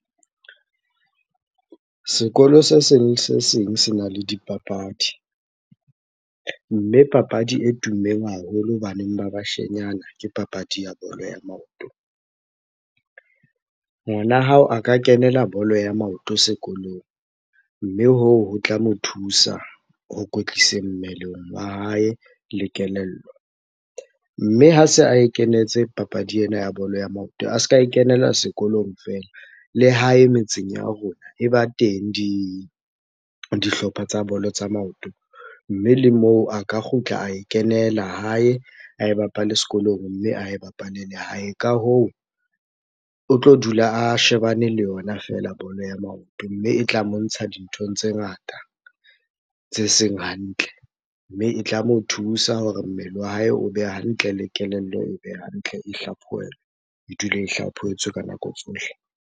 Sekolo se seng le se seng sena le dipapadi. Mme papadi e tummeng haholo ho baneng ba bashenyana, ke papadi ya bolo ya maoto. Ngwana hao a ka kenela bolo ya maoto sekolong, mme hoo ho tla mo thusa ho kwetlisa mmeleng wa hae le kelello. Mme ha se ae kenetse papadi ena ya bolo ya maoton a se ka e kenela sekolong feela, le hae metseng ya rona e ba teng dihlopha tsa bolo tsa maoto. Mme le moo a ka kgutla ae kenela hae, ae bapale sekolong mme ae bapale le hae. Ka hoo, o tlo dula a shebane le yona feela bolo ya maoto, mme e tla mo ntsha dinthong tse ngata tse seng hantle. Mme e tla mo thusa hore mmele wa hae obe hantle, le kelello ebe hantle, e hlaphohelwe. E dule e hlaphohetswe ka nako tsohle.